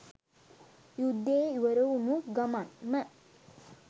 යුද්දේ ඉවර වුනු ගමන්ම.